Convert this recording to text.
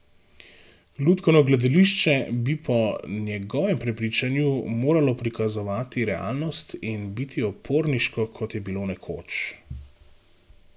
Lutkovno gledališče bi po njegovem prepričanju moralo prikazovati realnost in biti uporniško, kot je bilo nekoč.